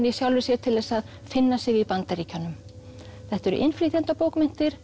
í sjálfri sér til þess að finna sig í Bandaríkjunum þetta eru